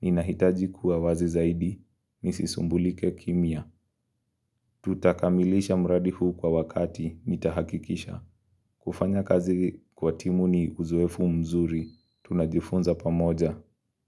Ninahitaji kuwa wazi zaidi nisisumbulike kimya. Tutakamilisha mradi huu kwa wakati nitahakikisha. Kufanya kazi kwa timu ni uzoefu mzuri, tunajifunza pamoja.